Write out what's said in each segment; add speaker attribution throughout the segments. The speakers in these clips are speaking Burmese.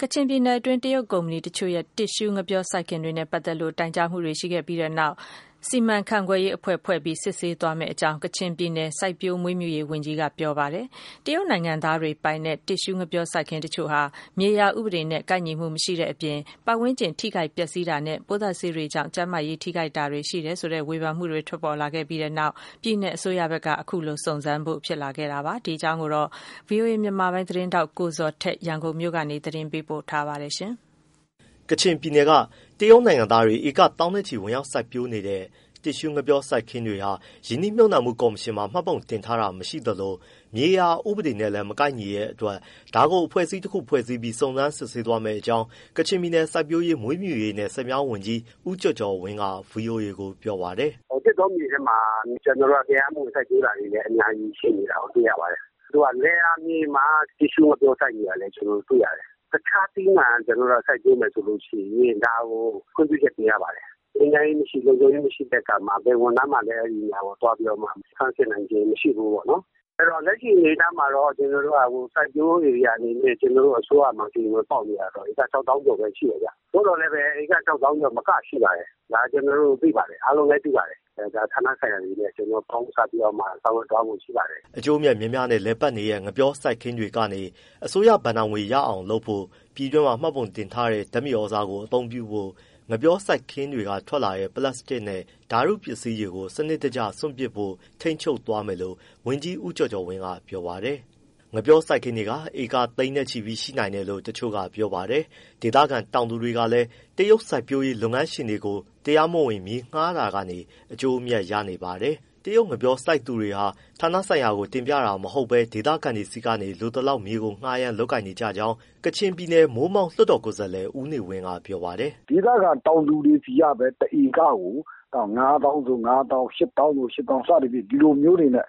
Speaker 1: ကချင်ပြည်နယ်တွင်း တရုတ်ကုမ္ပဏီတချို့က လုပ်ဆောင်နေတဲ့ တစ်ရှူးငှက်ပျော စိုက်ခင်းတွေနဲ့ ပတ်သက်လို့ တိုင်ကြားမှုတွေ ရှိခဲ့ပြီးတဲ့နောက် စီမံခန့်ခွဲရေးအဖွဲ့ ဖွဲ့ပြီး စစ်ဆေးသွားမယ့်အကြောင်း ကချင်ပြည်နယ် စိုက်ပျိုးမွေးမြူရေးဝန်ကြီးက ပြောပါတယ်။ တရုတ်နိုင်ငံသားတွေပိုင်တဲ့ တစ်ရှူးငှက်ပျောစိုက်ခင်းတချို့ဟာ မြေယာဥပဒေနဲ့ ကိုက်ညီမှုမရှိတဲ့အပြင် ပတ်ဝန်းကျင်ထိခိုက်ပျက်စီးတာနဲ့ ပိုးသတ်ဆေးတွေကြောင့် ကျန်းမာရေးထိခိုက်တာတွေ ရှိတယ်ဆိုတဲ့ ဝေဖန်မှုတွေ ထွက်ပေါ်ခဲ့ပြီးတဲ့နောက် ပြည်နယ်အစိုးရဘက်က ခုလိုစုံစမ်းဖို့ ဖြစ်လာခဲ့တာပါ။ ဒီအကြောင်း ဗွီအိုအေ မြန်မာပိုင်းသတင်ထောက် ကိုဇော်ထက် ရန်ကုန်ကနေ ပေးပို့ထားပါတယ်။
Speaker 2: ကချင်ပြည်နယ်က တရုတ်နိုင်ငံသားတွေ ဧကသောင်းနဲ့ချီ ဝင်ရောက်စိုက်ပျိုးနေတဲ့ တစ်ရှူး ငှက်ပျော စိုက်ပျိုးခင်းတွေဟာ ရင်းနှီးမြှုပ်နှံမှုကော်မရှင်မှာ မှတ်ပုံတင်ထားတာ မရှိသလို မြေယာဥပဒေနဲ့လည်း မကိုက်ညီတဲ့အတွက် ဒါကိုအဖွဲ့အစည်းတစ်ခုဖွဲ့ပြီး စုံစမ်း စစ်ဆေးသွားမယ့် အကြောင်း ကချင်ပြည်နယ် စိုက်ပျိုးရေး၊ မွေးမြူရေးနဲ့ ဆည်မြောင်း ဝန်ကြီး ဦးကျော်ကျော်ဝင်းက ဗွီအိုအေကိုပြောပါတယ်
Speaker 3: ။ “သစ်တောမြေထဲမှာ ကျနော်တို့က တရားမဝင်စိုက်ပျိုးတာတွေလည်း အများကြီး ရှိနေတာကို တွေ့ရပါတယ်။ လယ်ယာမြေမှာ တစ်ရှူးငှက်ပျောစိုက်နေတာ လည်း တွေ့ရပါတယ်။ တခြားသီးနှံကျနော်တို့က စိုက်ပျိုးမယ်ဆိုရင် ဒါကို ခွင့်ပြုချက်တင်ရပါတယ်။ ငြိမ်းချမ်းရေးမရှိ၊ လုံခြုံရေးမရှိတဲ့အခါမှာ ဘယ်ဝန်ထမ်းမှလည်း ဒါကိုသွားပြီးတော့မှ ဆန်းစစ်နိုင်ခြင်း မရှိဘူးပေါ့နော်။ အဲဒီတော့ လက်ရှိအနေအထားမှာတော့ ကျနော်တို့ စိုက်ပျိုးဧရိယာ အနေနဲ့ အစိုးရမှာ တရားဝင် ပေါက်နေတာက ဧက ၆သောင်းကျော် ပဲရှိတယ်ဗျ။ သို့သော်လည်းပဲ ဧက ၆သောင်းကျော် မကရှိပါတယ်၊ ဒါကျနော်တို့ သိပါတယ် အားလုံးလည်း သိပါတယ်။ ဌာနဆိုင်ရာတွေနဲ့ ကျနော်တို့ ခေါင်းဆိုင်ပြီး ဆောင်ရွက်သွားဖို့ ရှိပါတယ်
Speaker 2: ။” အကျိုးအမြတ်များများနဲ့ လည်ပတ်နေတဲ့ ငှက်ပျောစိုက်ခင်းတွေကနေ အစိုးရဘဏ္ဍာငွေ ရအောင်လုပ်ဖို့၊ ပြည်တွင်းမှာ မှတ်ပုံတင်ထားတဲ့ ဓာတ်မြေသြဇာကို အသုံးပြုဖို့၊ ငှက်ပျောစိုက်ခင်းက ထွက်လာတဲ့ ပလပ်စတစ်နဲ့ ဓာတ်တုပစ္စည်းတွေကို စနစ်တကျ စွန့်ပစ်ဖို့ ထိန်းချုပ် သွားမယ်လို့ ဝန်ကြီး ဦးကျော်ကျော်ဝင်းက ပြောပါတယ်။ ငှက်ပျောစိုက်ခင်းတွေဟာ ဧကသိန်းနဲ့ချီရှိနိုင်တယ်လို့ တချို့ကပြောပါတယ်။ ဒေသခံတောင်သူ တွေကလည်း တရုတ်စိုက်ပျိုးရေး လုပ်ငန်းရှင်တွေကို တရားမဝင် မြေငှားတာကနေ အကျိုးအမြတ် ရနေပါတယ်။ တရုတ်ငှက်ပျောစိုက် သူတွေက ဌာနဆိုင်ရာကို တင်ပြတာ မဟုတ်ဘဲ ဒေသခံတွေဆီကနေ လိုသလောက်မြေကို ငှားရမ်း လုပ်ကိုင်နေကြောင်း ကချင်ပြည်နယ် မိုးမောက် လွှတ်တော်ကိုယ်စားလှယ် ဦးနေဝင်းက ပြောပါတယ်
Speaker 3: ။ “ဒေသခံတောင်သူတွေဆီကပဲ တစ်ဧကကို ၅သောင်းဆို ၅သောင်း ၈သောင်းဆို ၈သောင်း စသဖြင့် ဒီလိုမျိုးတွေနဲ့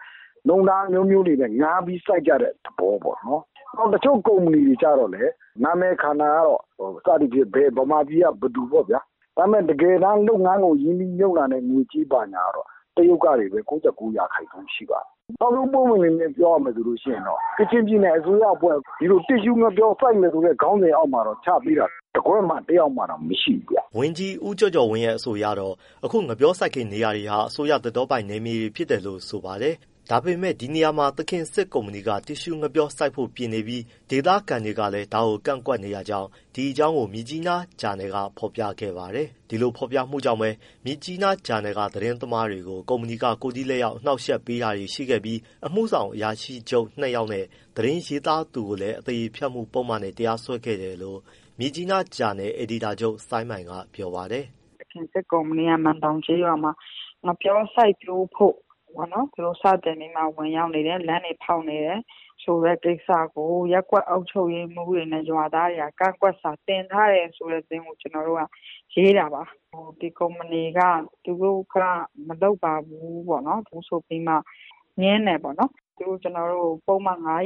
Speaker 3: နှုန်းထား အမျိုးမျိုးတွေနဲ့ ငှားပြီးစိုက်ကြတဲ့ သဘောပေါ့။ တချို့ ကုမ္ပဏီတွေ ကျတော့လည်း နာမည်ခံတာကတော့ မြန်မာပြည်က ဘယ်သူပေါ့ ။ ဒါပေမဲ့ တကယ်တမ်း လုပ်ငန်းကို ရင်းနှီးမြှုပ်နှံတဲ့ငွေကြေး ဘာညာတွေ ကတော့ တရုတ် ကနေပဲ ၉၉ % ရှိပါတယ်။ ပွင့်ပွင့်လင်းလင်း ပြောရမယ်ဆိုလို့ရှိရင်တော့ ကချင်ပြည်နယ်အစိုးရအဖွဲ့ ဒီလိုတစ်ရှူးငှက်ပျော စိုက်မယ်ဆိုတဲ့ ခေါင်းစဉ်အောက်
Speaker 2: မှာတော့ ချပေးတာ တကွက်မှ တယောက်မှ မရှိဘူးဗျ။” ဝန်ကြီး ဦးကျော်ကျော်ဝင်းရဲ့ အဆိုအရကတော့ အခု ငှက်ပျောစိုက်ခင်းနေရာတွေဟာ အစိုးရ သစ်တောပိုင် နယ်မြေဖြစ်တယ်လို့ ဆိုပါတယ်။ ဒါပေမယ့် ဒီနေရာမှာ သခင်စစ် ကုမ္ပဏီက တစ်ရှူးငှက်ပျော စိုက်ပျိုးဖို့ပြင်နေပြီး ဒေသခံတွေကလည်း ဒါကို ကန့်ကွက် နေတဲ့ကြောင်း ဒီအကြောင်းကို မြစ်ကြီးနား သတင်းဌာနယ်က ဖော်ပြခဲ့ပါတယ်။ အဲဒီဖော်ပြမှုကြောင့်ပဲ မြစ်ကြီးဂျာနယ်က သတင်းသမားတွေကို ကုမ္ပဏီက ကိုယ်ထိ လက်ရောက် အနှောက်အယှက်ပေးတာတွေ ရှိခဲ့ပြီး အမှှုဆောင်အရာရှိချုပ် ၂ယောက်နဲ့ သတင်းရေးတဲ့ သူကိုလည်း အသရေဖျက်မှုပုဒ်မ နဲ့ တရားစွဲခဲ့တယ်လို့ မြစ်ကြီးနားဂျာနယ် အယ်ဒီတာချုပ် ဆိုင်းမိုင်က ပြောပါတယ်။
Speaker 4: “သခင်စစ်ကုမ္ပဏီက မန်ဒေါင်ကျေးရွာမှာ ငှက်ပျောစိုက်ပျိုးဖို့ စတင်ပြီးမှ ဝင်ရောက်နေ တယ်။ လမ်းတွေဖောက်နေတယ် ဆိုတဲ့ကိစ္စကို ရပ်ကွက် အုပ်ချုပ်ရေးမှူးတွေ နဲ့ ရွာသားတွေက ကန့်ကွက်စာတင်ထားတယ်ဆိုတဲ့ သတင်းကို ကျနော်တို့က ရေးတာပါ။ ဒီကုမ္ပဏီက သူတို့က မလုပ်ပါဘူး ဆိုပြီးမှ ငြင်းတယ်ပေါ့နော်။ သူတို့ကျတော်တို့ကို ပုဒ်မ နဲ့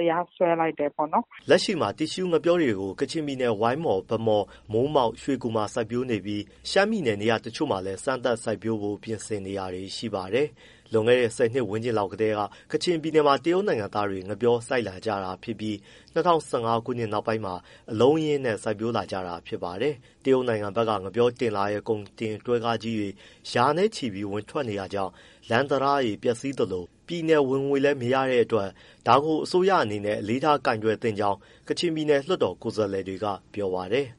Speaker 4: တရားစွဲလိုက်တယ်ပေါ့ နော်။
Speaker 2: ” လက်ရှိမှာ တစ်ရှူးငှက်ပျောတွေကို ကချင်ပြည်နယ် ဝိုင်းမော်၊ ဗန်းမော်၊ မိုးမောက်၊ ရွှေကူမှာစိုက်ပျိုး နေပြီး ရှမ်းပြည်နယ် နေရာတချို့မှာလည်း စမ်းသပ် စိုက်ပျိုးဖို့ ပြင်ဆင်နေတာတွေ ရှိပါတယ်။ လွန်ခဲ့တဲ့ ဆယ်နှစ်ဝန်းကျင်လောက်ကတည်းက ကချင်ပြည်နယ် မှာ တရုတ်နိုင်ငံသားတွေ ငှက်ပျောစိုက်လာ ကြတာဖြစ်ပြီး ၂၀၁၅ ခုနှစ် နောက်ပိုင်းမှာ အလုံးအရင်းနဲ့ စိုက်ပျိုးလာကြတာဖြစ်ပါတယ်။ တရုတ်နိုင်ငံဘက်က ငှက်ပျောလာတင်တဲ့ ကုန်တင်တွဲကားကြီးတွေ ရာနဲ့ချီ ဝင်ထွက် နေတောကြောင့် လမ်းတံတားတွေ ပျက်စီးသလို၊ ပြည်နယ်ဝင်ငွေ လည်း မရတဲ့အတွက် ဒါကို အစိုးရအနေနဲ့ အလေးထား ကိုင်တွယ် သင့်ကြောင်း ကချင်ပြည်နယ် လွှတ်တော် ကိုယ်စားလှယ်တွေက ပြောပါတယ်။